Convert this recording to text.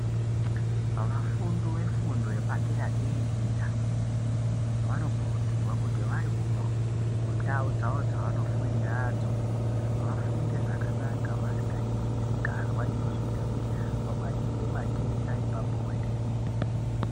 Vafundi vefundo yepadera dera vanokurudzirwa kuti vari kundau dzavo dzavanofundiradzp vafunde zvakanaka vasingaiti misikazwa inoita kuti vabatire matenda epabonde.